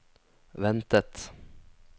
ventet